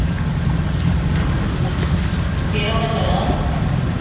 ਠੀਕ ਆ ਕਿਹੜਾ ਬੱਚਨ?